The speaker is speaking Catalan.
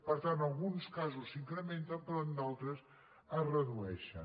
per tant en alguns casos s’incrementen però en d’altres es redueixen